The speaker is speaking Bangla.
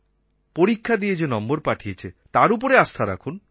পরীক্ষা দিয়ে যে নম্বর পাঠিয়েছে তার উপর আস্থা রাখুন